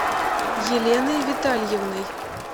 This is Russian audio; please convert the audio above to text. еленой витальевной